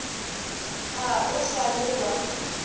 ga o sa le wa